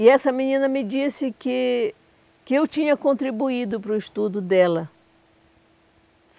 E essa menina me disse que que eu tinha contribuído para o estudo dela.